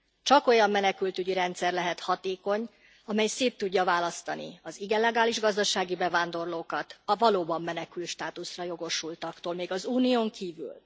Csak olyan menekültügyi rendszer lehet hatékony, amely szét tudja választani az illegális gazdasági bevándorlókat a valóban menekültstátuszra jogosultaktól még az Unión kívül.